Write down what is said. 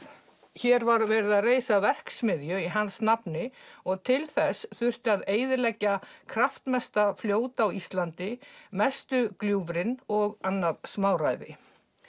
hér var verið að reisa verksmiðju í hans nafni og til þess þurfti að eyðileggja kraftmesta fljót á Íslandi mestu gljúfrin og annað smáræði